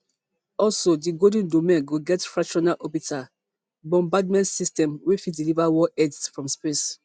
also di golden dome go get fractional orbital bombardment systems wey fit deliver warheads from space